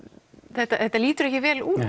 þetta þetta lítur ekki vel út